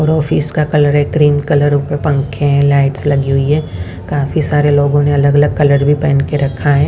और ऑफिस का कलर है क्रीम कलर ऊपर पंखे हैं लाइट्स लगी हुई है काफी सारे लोगों ने अलग अलग कलर भी पहन के रखा है।